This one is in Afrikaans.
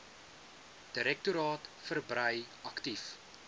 direktoraat verbrei aktief